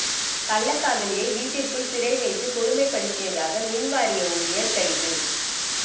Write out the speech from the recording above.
கள்ளக்காதலியை வீட்டிற்குள் சிறை வைத்து கொடுமைப்படுத்தியதாக மின்வாரிய ஊழியர் கைது